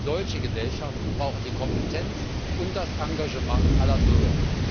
Denn solche Gesellschaften brauchen die Kompetenz und das Engagement aller Bürger.